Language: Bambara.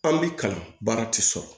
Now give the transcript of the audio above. An bi kalan baara ti sɔrɔ